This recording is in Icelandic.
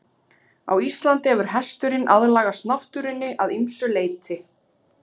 Á Íslandi hefur hesturinn aðlagast náttúrunni að ýmsu leyti.